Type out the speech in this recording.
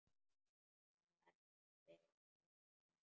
En það brestur ekki.